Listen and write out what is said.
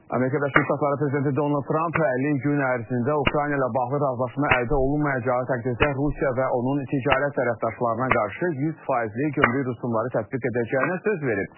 Amerika Birləşmiş Ştatları prezidenti Donald Tramp 50 gün ərzində Ukrayna ilə bağlı razılaşma əldə olunmayacağı təqdirdə Rusiya və onun ticarət tərəfdaşlarına qarşı 100 faizlik gömrük rüsumları tətbiq edəcəyinə söz verib.